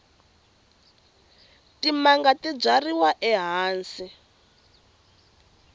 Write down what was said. timanga ti byariwa ehansi